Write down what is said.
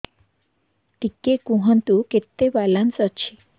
ଟିକେ କୁହନ୍ତୁ କେତେ ବାଲାନ୍ସ ଅଛି